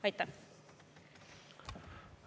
Aitäh!